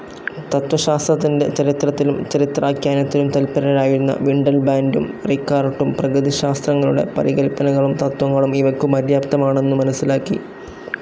തത്വശാസ്ത്രത്തിൻ്റെ ചരിത്രത്തിലും ചരിത്രാഖ്യാനത്തിലും തല്പരരായിരുന്ന വിണ്ടൽബാൻ്റും റികാർട്ടും പ്രകൃതിശാസ്ത്രങ്ങളുടെ പാരികല്പനകളും തത്വങ്ങളും ഇവയ്ക്കു പര്യാപ്തമാണെന്നു മനസിലാക്കി.